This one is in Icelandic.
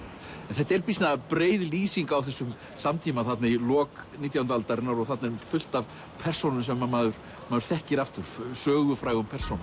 þetta er býsna breið lýsing á þessum samtíma í lok nítjándu aldarinnar og þarna er fullt af persónum sem maður maður þekkir aftur sögufrægum persónum